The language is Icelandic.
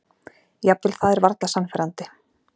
Jafnvel það er varla sannfærandi.